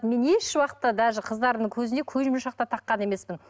мен ешуақытта даже қыздардың көзіне көзмоншақ та таққан емеспін